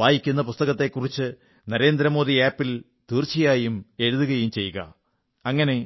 വായിക്കുന്ന പുസ്തകത്തെക്കുറിച്ച് നരേന്ദ്രമോദി ആപ് ൽ തീർച്ചയായും എഴുതുകയും ചെയ്യുക അങ്ങനെ